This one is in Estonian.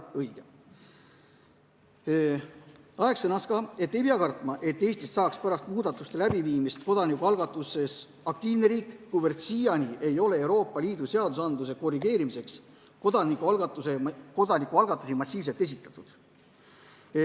Aeg sõnas veel, et ei pea kartma, et Eestist saaks pärast muudatuse tegemist kodanikualgatuses aktiivne riik, kuivõrd siiani ei ole Euroopa Liidu seaduste korrigeerimiseks kodanikualgatusi massiliselt esitatud.